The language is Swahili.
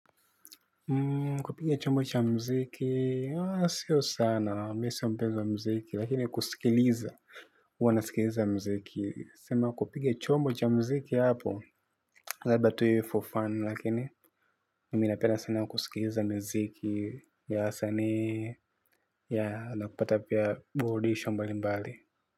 Kupiga chombo cha mziki sio sana, mimi siyo mpenzi wa mziki lakini kusikiliza huwa nasikiliza mziki. Sema kupiga chombo cha mziki hapo labda tu iwe for fun lakini, mimi napenda sana kusikiliza mziki ya wasanii ya na kupata pia boardisho mbali mbali.